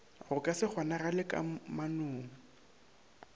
go ka se kgonagale kamanong